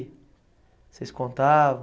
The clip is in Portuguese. Vocês contavam?